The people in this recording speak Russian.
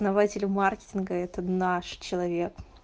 основатель маркетинга это наш человек